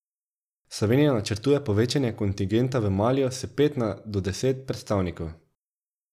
Slovenija načrtuje povečanje kontingenta v Maliju s pet na do deset predstavnikov.